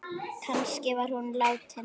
Kannski var hún látin.